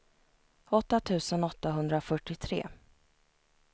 åtta tusen åttahundrafyrtiotre